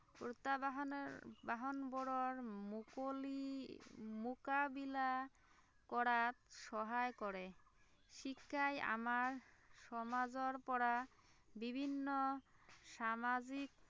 প্ৰত্য়াহ্বানৰ বাহনবোৰৰ মুকলি মুকাবিলা কৰাত সহায় কৰে, শিক্ষাই আমাৰ সমাজৰ পৰা বিভিন্ন সামাজিক